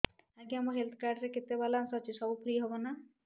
ଆଜ୍ଞା ମୋ health card ରେ କେତେ ବାଲାନ୍ସ ଅଛି ସବୁ ଫ୍ରି ହବ ନାଁ